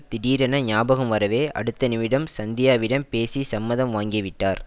திடீரென ஞாபகம் வரவே அடுத்த நிமிடம் சந்தியாவிடம் பேசி சம்மதம் வாங்கிவிட்டார்